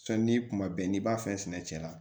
Sɔnni ni kuma bɛɛ n'i b'a fɛ sɛnɛ cɛ la